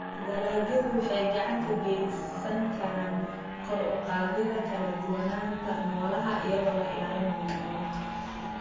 Dalagyadu waxay gacan ka geysan karaan kor u qaadida kala duwanaanta noolaha iyadoo la ilaalinayo noolaha.